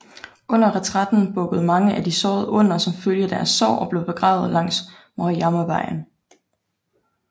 Under retræten bukkede mange af de sårede under som følge af deres sår og blev begravet langs Maruyamavejen